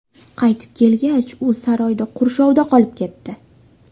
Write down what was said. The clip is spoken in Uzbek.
Qaytib kelgach, u saroyda qurshovda qolib ketdi.